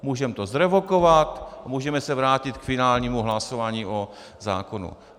Můžeme to zrevokovat a můžeme se vrátit k finálnímu hlasování o zákonu.